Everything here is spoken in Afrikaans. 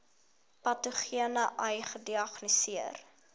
patogene ai gediagnoseer